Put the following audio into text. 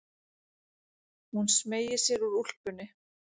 Hún smeygir sér úr úlpunni.